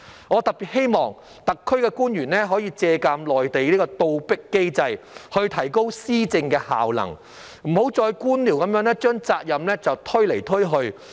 我特別希望特區的官員可以借鑒內地的"倒逼機制"來提高施政效能，不要再官僚地把責任推來推去。